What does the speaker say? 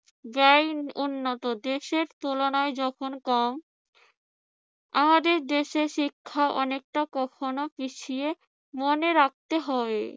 উন্নত দেশের তুলনায় যখন কম আমাদের দেশে শিক্ষা অনেকটা কখনো পিছিয়ে মনে রাখতে হবে